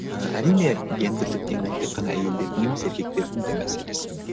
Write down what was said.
ііі әрине гендірлік теңдік тек қана әйелдердің емес еркектердің де мәселесі